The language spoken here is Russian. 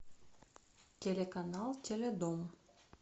телеканал теледом